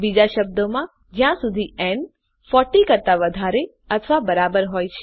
બીજા શબ્દોમાં જ્યાં સુધી ન 40 કરતા વધારે અથવા બરાબર હોય